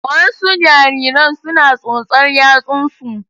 Wasu jariran suna tsotsar yatsunsu.